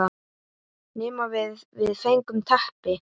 Nema við, við fengum teppi.